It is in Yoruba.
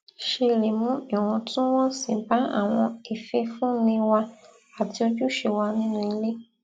ṣe lè mu iwòntúnwònsì ba awọn ififunni wa ati ojuṣe wa ninu ile